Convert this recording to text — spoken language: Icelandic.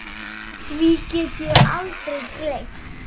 Því get ég aldrei gleymt.